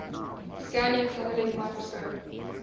scanning tunneling microscope